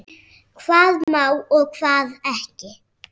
Hvað má og hvað ekki.